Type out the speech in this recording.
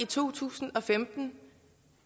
to tusind og femten